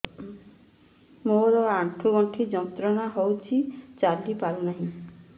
ମୋରୋ ଆଣ୍ଠୁଗଣ୍ଠି ଯନ୍ତ୍ରଣା ହଉଚି ଚାଲିପାରୁନାହିଁ